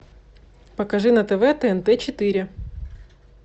покажи на тв тнт четыре